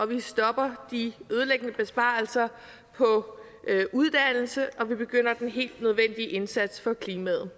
vi stopper de ødelæggende besparelser på uddannelse og vi begynder den helt nødvendige indsats for klimaet